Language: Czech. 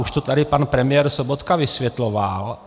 Už to tady pan premiér Sobotka vysvětloval.